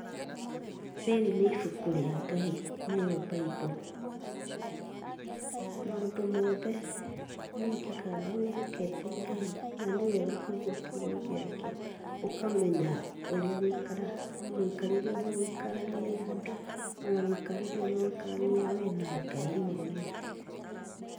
Rĩrĩ nĩ ibuku rĩa Ngai, nĩyo bible .Maũndũ mothe mekĩkaga wĩhokete Ngai na nĩwega kũigua kiugo gĩake, ũkamenya ũrĩa ũgũikara, mũikarĩre ũrĩa ũgũikarania na andũ o na mũikarĩre ũrĩa ũgũikarania we na Ngai mwene.